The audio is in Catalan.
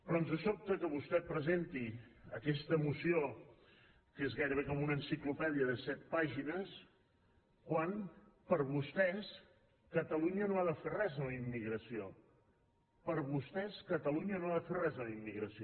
però ens sobta que vostè presenti aquesta moció que és gairebé com una enciclopèdia de set pàgines quan per vostès catalunya no ha de fer res amb la immi·gració per vostès catalunya no ha de fer res amb la immigració